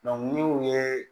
ni u ye